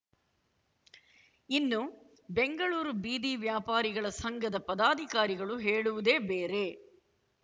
ಇನ್ನು ಬೆಂಗಳೂರು ಬೀದಿ ವ್ಯಾಪಾರಿಗಳ ಸಂಘದ ಪದಾಧಿಕಾರಿಗಳು ಹೇಳುವುದೇ ಬೇರೆ